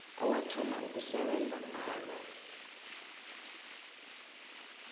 owathoma ukusebenza ngalo